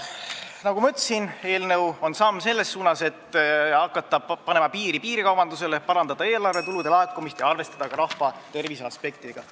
Nagu ma ütlesin, eelnõu on samm selles suunas, et hakata piirikaubandusele piiri panema, parandada eelarvetulude laekumist ja arvestada ka rahva tervise aspektidega.